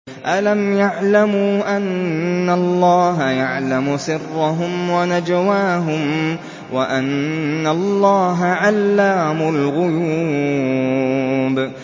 أَلَمْ يَعْلَمُوا أَنَّ اللَّهَ يَعْلَمُ سِرَّهُمْ وَنَجْوَاهُمْ وَأَنَّ اللَّهَ عَلَّامُ الْغُيُوبِ